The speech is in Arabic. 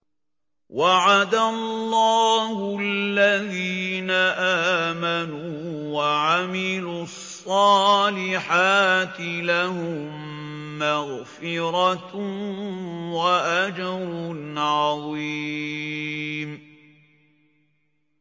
وَعَدَ اللَّهُ الَّذِينَ آمَنُوا وَعَمِلُوا الصَّالِحَاتِ ۙ لَهُم مَّغْفِرَةٌ وَأَجْرٌ عَظِيمٌ